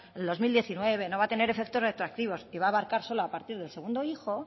en el dos mil diecinueve no va a tener efectos retroactivos y va a abarcar solo a partir del segundo hijo